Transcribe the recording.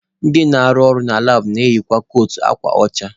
Ndị na-arụ na labụ na-eyikwa kootu akwa ọcha.